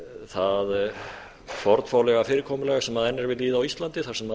það fornfálega fyrirkomulag sem enn er við lýði á íslandi þar sem